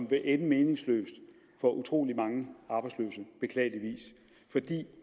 vil ende meningsløst for utrolig mange arbejdsløse fordi